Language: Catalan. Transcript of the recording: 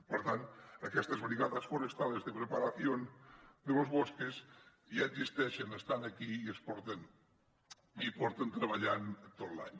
per tant aquestes brigadas forestales de preparación de los bosques ja existeixen estan aquí i porten treballant tot l’any